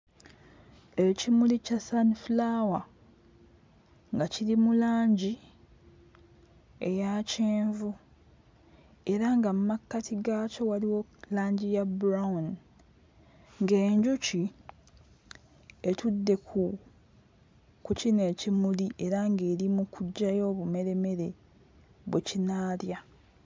Ekimuli kya sunflower nga kiri mu langi eya kyenvu era nga mmakkati gaakyo waliwo langi ya brown ng'enjuki etudde ku ku kino ekimuli era ng'eri mu kuggyayo obumeremere bwe kinaalya.